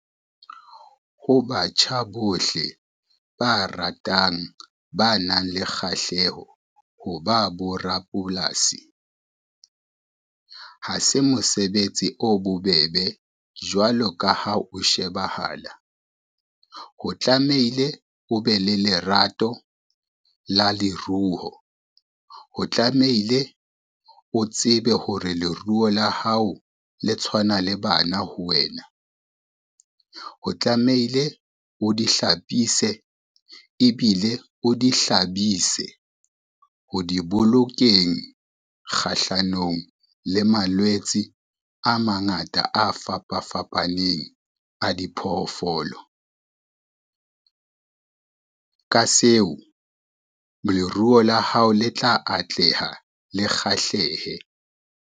Ho batjha bohle ba ratang, ba nang le kgahleho ho ba borapolasi. Ha se mosebetsi o bobebe jwalo ka ha o shebahala, ho tlameile o be le lerato la leruo, ho tlameile o tsebe hore leruo la hao le tshwana le bana ho wena, ho tlameile o di hlapise ebile o di hlabise ho di bolokeng kgahlanong le malwetse a mangata a fapa fapaneng a diphoofolo. Ka seo leruo la hao le tla atleha, le kgahlehe.